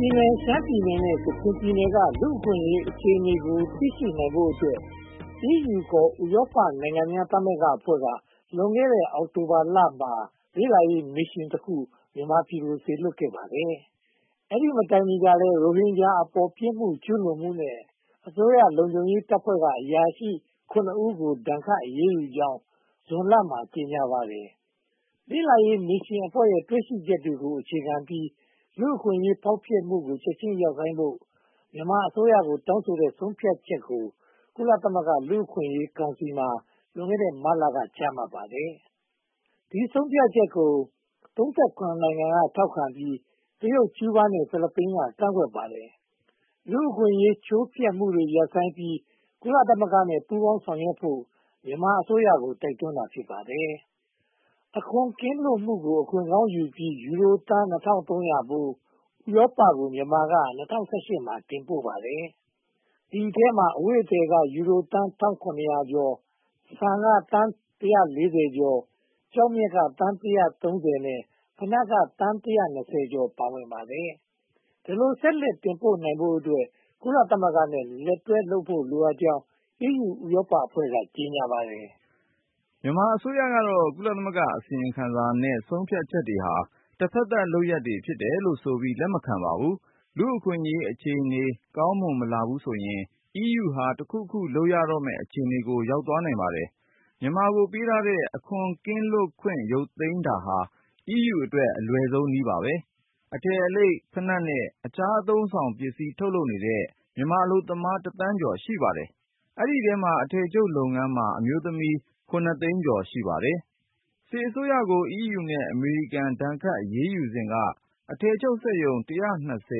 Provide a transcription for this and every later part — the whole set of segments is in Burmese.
ပြည်နယ်၊ ရှမ်းပြည်နယ်နဲ့ ကချင်ပြည်နယ်က လူ့အခွင့်အရေးအခြေအနေကို သိရှိနိုင်ဖို့အတွက် EU (ခေါ်) ဥရောပနိုင်ငံများသမဂ္ဂအဖွဲ့က လွန်ခဲ့တဲ့ အောက်တိုဘာလမှာ လေ့လာရေးမစ်ရှင်တခုက မြန်မာပြည်ကို စေလွှတ်ခဲ့ပါတယ်။ အဲဒီမတိုင်မီကလည်း ရိုဟင်ဂျာအပေါ် ပြစ်မှုကျူးလွန်မှုနဲ့ အစိုးရလုံခြုံရေးတပ်ဖွဲ့က အရာရှိ (၇) ဦးကို ဒဏ်ခတ်အရေးယူနိုင်ကြောင်း ဇွန်လမှာ ကြေညာပါတယ်။ လေ့လာရေးမစ်ရှင်ရဲ့ တွေ့ရှိချက်တွေကို အခြေခံပြီး လူ့အခွင့်အရေးချိုးဖျက်မှုတွေကို ချက်ချင်းရပ်ဆိုင်းဖို့ မြန်မာအစိုးရကို တောင်းဆိုတဲ့ဆုံးဖြတ်ချက်ကို ကုလသမဂ္ဂ လူ့အခွင့်အရေးကောင်စီမှာ လွန်ခဲ့တဲ့ မတ်လက ချမှတ်ခဲ့ပါတယ်။ ဒီဆုံးဖြတ်ချက်ကို (၃၇) နိုင်ငံက ထောက်ခံပြီး၊ တရုတ်၊ ကျူးဘားနဲ့ ဖိလစ်ပိုင်က ကန့်ကွက်ပါတယ်။ လူ့အခွင့်အရေး ချိုးဖျက်မှုတွေ ရပ်ဆိုင်းပြီး ကုလသမဂ္ဂနဲ့ ပူးပေါင်းဆောင်ရွက်ဖို့ မြန်မာအစိုးရကို တိုက်တွန်းတာ ဖြစ်ပါတယ်။ အခွန်ကင်းလွတ်မှုကို အခွင့်ကောင်းယူပြီး ယူရိုသန်း (၂၃၀၀) ဖိုး ဥရောပကို မြန်မာက (၂၀၁၈) မှာ တင်ပို့လိုက်ပါတယ်။ ဒီအထဲမှာ အဝတ်အထည်က ယူရိုသန်း (၁၇၀၀) ကျော်၊ ဆန်က သန်း (၁၄၀) ကျော်၊ ကျောက်မျက်က သန်း (၁၃၀) နဲ့ ဖိနပ်က သန်း (၁၂၀) ကျော် ပါဝင်ပါတယ်။ ဒီလိုဆက်လက်တင်ပို့နိုင်ဖို့အတွက် ကုလသမဂ္ဂနဲ့ လက်တွဲဖို့ လိုအပ်ကြောင်း EU ဥရောပအဖွဲ့က ကြေညာပါတယ်။ မြန်မာအစိုးရကတော့ ကုလသမဂ္ဂအစီရင်ခံစာနဲ့ ဆုံးဖြတ်ချက်တွေဟာ တဖက်သတ်လုပ်ရပ်တွေ ဖြစ်တယ်လို့ဆိုပြီး လက်မခံပါဘူး။ လူ့အခွင့်အရေးအခြေအနေ ကောင်းမွန်မလာဘူးဆိုရင် EU က တခုခုလုပ်ရတော့မယ့် အခြေအနေကို ရောက်သွားနိုင်ပါတယ်။ မြန်မာကို ပေးထားတဲ့ အခွန်ကင်းလွတ်ခွင့် ရုတ်သိမ်းတာဟာ EU အတွက် အလွယ်ဆုံးနည်းပါ။ အထည်အလိပ်၊ ဘိနပ်နဲ့ အခြားအသုံးအဆောင်ပစ္စည်း ထုတ်လုပ်နေတဲ့ မြန်မာအလုပ်သမား တစ်သန်းကျော် ရှိပါတယ်။ ဒီအထဲမှာ အထည်ချုပ်လုပ်ငန်းမှာ အမျိုးသမီး (၇) သိန်းကျော် ရှိပါတယ်။ စစ်အစိုးရကို EU နဲ့ အမေရိကန် ဒဏ်ခတ်အရေးယူစဉ်က အထည်ချုပ်စက်ရုံ (၁၂၀)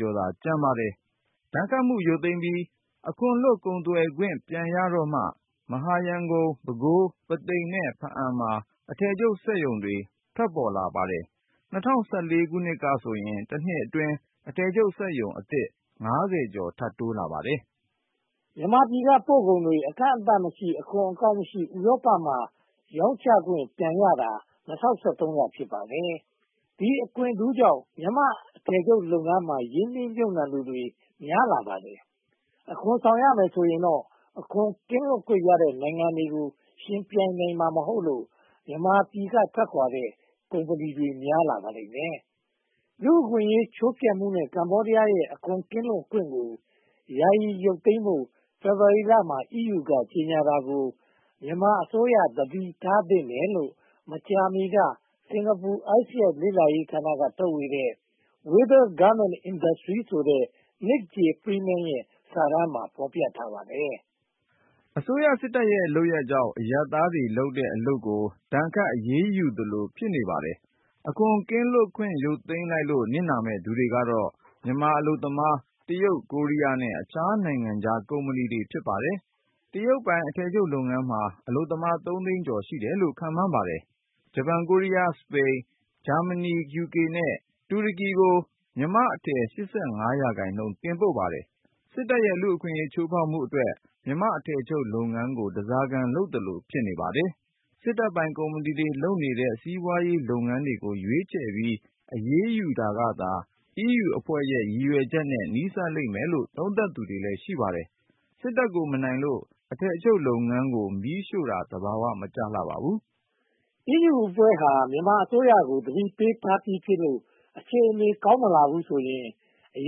ကျော်သာ ကျန်ပါတယ်။ ဒဏ်ခတ်မှု ရုတ်သိမ်းပြီး အခွန်လွတ် ကုန်သွယ်ခွင့် ပြန်ရတော့မှ မဟာရန်ကုန်၊ ပဲခူး၊ ပုသိမ်နဲ့ ဖားအံ့မှာ အထည်ချုပ်စက်ရုံတွေ ပေါ်ထွက်လာပါတယ်။ ၂၀၁၄ ကဆိုရင် တနှစ်အတွင်း အထည်ချုပ်စက်ရုံအသစ် (၅၀) ကျော် ထပ်တိုးလာပါတယ်။ မြန်မာပြည်က ပို့ကုန်တွေ အကန့်အသတ်မရှိ၊ အခွန်အကောက်မရှိ၊ ဥရောပမှာ ရောင်းချခွင့် ပြန်ရတာ (၂၀၁၃) က ဖြစ်ပါတယ်။ ဒီအခွင့်ထူးကြောင့် မြန်မာအထည်ချုပ်လုပ်ငန်းမှာ ရင်းနှီးမြုပ်နံှသူများပြားလာပါတယ်။ အခွန်ဆောင်ရမယ်ဆိုရင်တော့ အခွန်ကင်းလွတ်ခွင့်ရတဲ့ နိုင်ငံတွေကို ယှဉ်ပြိုင်နိုင်မှာ မဟုတ်လို့ မြန်မာပြည်က ထွက်ခွါတဲ့ ကုမ္ပဏီတွေ များပြားလာပါလိမ့်မယ်။ လူ့အခွင့်အရေး ချိုးဖျက်မှုနဲ့ ကမ္ဘောဒီးယားရဲ့ အခွန်ကင်းလွတ်ခွင့်ကို ယာယီရုတ်သိမ်းဖို့ ဖေဖေါ်ဝါရီလမှာ အီးယူက ကြေညာတာကို မြန်မာအစိုးရ သတိထားသင့်တယ်လို့ မကြာမီက စင်္ကာပူ ISEAS လေ့လာရေးဌာနက ထုတ်ဝေတဲ့ Whither Garment Industry ဆိုတဲ့ Nick J. Freeman ရဲ့ စာတမ်းမှာ ဖော်ပြထားပါတယ်။ အစိုးရစစ်တပ်ရဲ့ လုပ်ရပ်ကြောင့် အရပ်သားတွေလုပ်တဲ့ အလုပ်ကို ဒဏ်ခတ်အရေးယူသလို ဖြစ်နေပါတယ်။ အခွန်ကင်းလွတ်ခွင့် ရုတ်သိမ်းလိုက်လို့ နစ်နာမယ့်သူတွေကတော့ မြန်မာအလုပ်သမား၊ တရုတ်၊ ကိုရီးယားနဲ့ အခြားနိုင်ငံခြားကုမ္ပဏီတွေ ဖြစ်ပါတယ်။ တရုတ်ပိုင် အထည်ချုပ်လုပ်ငန်းမှာ အလုပ်သမား (၃) သိန်းကျော် ရှိတယ်လို့ ခန့်မှန်းပါတယ်။ ဂျပန်၊ ကိုရီးယား၊ စပိန်၊ ဂျာမဏီ၊ ယူကေ နဲ့ တူရကီတို့ကို မြန်မာ့အထည် (၈၅) ရာခိုင်နှုန်း တင်ပို့ပါတယ်။ စစ်တပ်ရဲ့ လူ့အခွင့်အရေး ချိုးဖျက်မှုအတွက် မြန်မာ့အထည်ချုပ်လုပ်ငန်းကို ဓါးစားခံလုပ်သလို ဖြစ်နေပါတယ်။ စစ်တပ်ပိုင် ကုမ္ပဏီတွေ လုပ်နေတဲ့ စီးပွားရေးလုပ်ငန်းတွေကို ရွေးချယ်ပြီး အရေးယူတာကသာ အီးယူအဖွဲ့ရဲ့ ရည်ရွယ်ချက်နဲ့ နီးစပ်လိမ့်မယ်လို့ သုံးသပ်သူလည်း ရှိပါတယ်။ စစ်တပ်ကို မနိုင်လို့ အထည်ချုပ်လုပ်ငန်း မီးရှို့တာ သဘာဝ မကျပါဘူး။ အီးယူအဖွဲ့ဟာ မြန်မာအစိုးရကို သတိပေးထားပြီးဖြစ်လို့ အခြေအနေ ကောင်းမလာဘူးဆိုရင် အ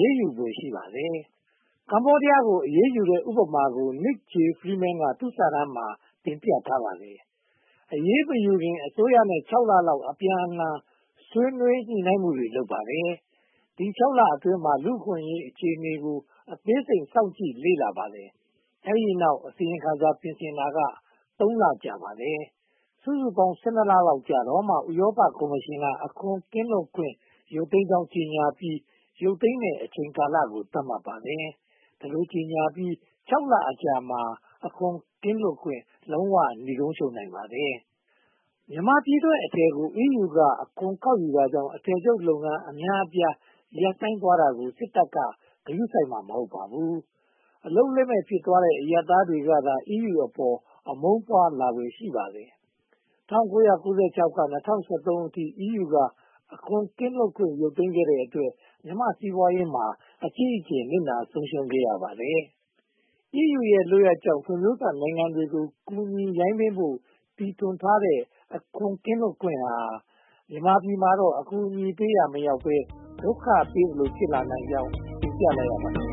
ရေးယူဖွယ် ရှိပါတယ်။ ကမ္ဘောဒီးယားကို အရေးယူတဲ့ ဥပမာကို Nick J. Freeman က သူ့စာတမ်းမှာ တင်ပြထားပါတယ်။ အရေးမယူခင် အစိုးရနဲ့ (၆) လလောက် အပြန်အလှန် ဆွေးနွေးညှိနှိုင်းမှုတွေ လုပ်ပါတယ်။ ဒီ (၆) လအတွင်းမှာ လူ့အခွင့်အရေးအခြေအနေကို အသေးစိတ် စောင့်ကြည့်လေ့လာပါတယ်။ အဲဒီတောက် အစီရင်ခံစာ ပြင်ဆင်တာက (၃) လ ကြာပါတယ်။ စုစုပေါင်း (၁၂) လလောက်ကြာတော့မှ ဥရောပကော်မရှင်က အခွန်ကင်းလွတ်ခွင့် ရုတ်သိမ်းကြောင်း ကြေညာပြီး ရုတ်သိမ်းမယ့် အချိန်ကာလကို သတ်မှတ်ပါတယ်။ ဒီလိုကြေညာပြီး (၆) လအကြာမှာ အခွန်ကင်းလွတ်ခွင့် နိဂုံးချုပ်နိုင်ပါတယ်။ မြန်မာပြည်ထုတ်အထည်များကို အီးယူက အခွန်ကောက်ယူတာကြောင့် အထည်ချုပ်လုပ်ငန်း အများအပြား ရပ်ဆိုင်းသွားတာကို စစ်တပ်က ဂရုစိုက်မှာ မဟုတ်ပါဘူး။ အလုပ်လက်မဲ့ ဖြစ်သွားတဲ့ အရပ်သားကသာ အီးယူအပေါ် အမုန်းပွားလာဖွယ် ရှိပါတယ်။ ၁၉၉၆ ကနေ ၂၀၁၃ အထိ အီးယူက အခွန်ကင်းလွတ်ခွင့် ရုတ်သိမ်းခဲ့တဲ့အတွက် မြန်မာ့စီးပွားရေးမှာ အကြီးအကျယ် နစ်နာဆုံးရှုံးခဲ့ရပါတယ်။ အီးယူရဲ့ လုပ်ရပ်ကြောင့် ဖွံ့ဖြိုးစနိုင်ငံတွေကို ကူညီရိုင်းပင်းဖို့ တီထွင်ထားတဲ့ အခွန်ကင်းလွတ်ခွင့်ဟာ မြန်မာပြည်မှာတော့ အကူအညီပေးရာ မရောက်ဘဲ ဒုက္ခပေးသလို ဖြစ်လာနိုင်ကြောင်း တင်ပြလိုက်ရပါတယ်။